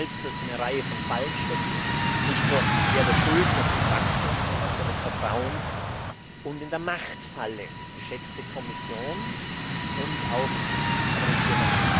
Sie wissen selbst, dass Sie in einer Reihe von Fallen stecken, nicht nur in der der Schulden und des Wachstums, sondern auch in der des Vertrauens und in der Machtfalle, geschätzte Kommission und das ist auch an den Rat adressiert.